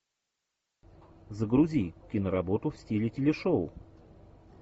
загрузи киноработу в стиле телешоу